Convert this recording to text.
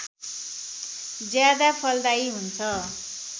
ज्यादा फलदायी हुन्छ